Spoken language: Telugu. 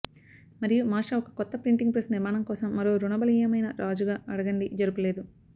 మరియు మాస్టర్ ఒక కొత్త ప్రింటింగ్ ప్రెస్ నిర్మాణం కోసం మరో రుణ బలీయమైన రాజుగా అడగండి జరుపలేదు